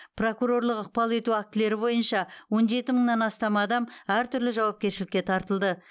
прокурорлық ықпал ету актілері бойынша он жеті мыңнан астам адам әртүрлі жауапкершілікке тартылды